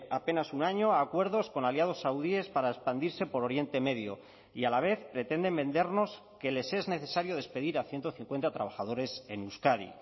apenas un año a acuerdos con aliados saudíes para expandirse por oriente medio y a la vez pretenden vendernos que les es necesario despedir a ciento cincuenta trabajadores en euskadi